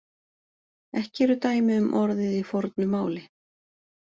Ekki eru dæmi um orðið í fornu máli.